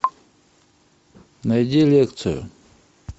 найди лекцию